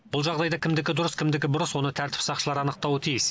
бұл жағдайда кімдікі дұрыс кімдікі бұрыс оны тәртіп сақшылары анықтауы тиіс